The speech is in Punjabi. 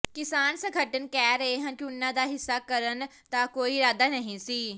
ਕਿਸਾਨ ਸੰਗਠਨ ਕਹਿ ਰਹੇ ਹਨ ਕਿ ਉਨ੍ਹਾਂ ਦਾ ਹਿੰਸਾ ਕਰਨ ਦਾ ਕੋਈ ਇਰਾਦਾ ਨਹੀਂ ਸੀ